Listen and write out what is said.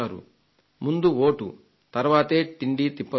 ముందు వోటు తర్వాతే తిండీతిప్పలు అని